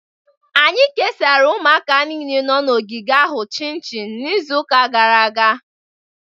Anyị kesara ụmụaka niile nọ na ogige ahụ chinchin n'izu gara aga.